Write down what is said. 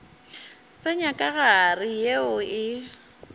tsenya ka gare yeo e